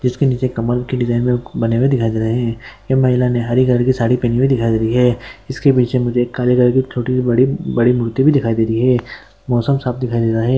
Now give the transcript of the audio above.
इसके नीचे कमल के डिज़ाइन बने हुए दिखाई दे रहे है। ये महिला ने हरी कलर के साड़ी पेहने हुए दिखाई दे रहे है। इसके नीचे मुझे बड़ी मूर्ति भी दिखाई दे रही है। मौसम साफ दिखाई दे रहा है।